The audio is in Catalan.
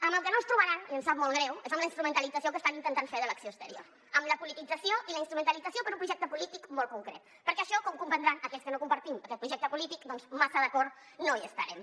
en el que no ens trobaran i ens sap molt greu és en la instrumentalització que estan intentant fer de l’acció exterior en la politització i la instrumentalització per un projecte polític molt concret perquè en això com deuran comprendre aquells que no compartim aquest projecte polític doncs massa d’acord no hi estarem